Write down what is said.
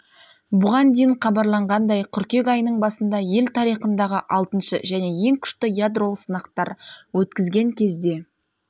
бұған дейін хабарланғандай қыркүйек айының басында ел тарихындағы алтыншы және ең күшті ядролық сынақтар өткізген кезде